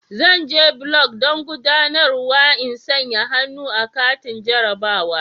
Zan je block don guɗanarwa in sanƴa hannu a katin jarrabawa.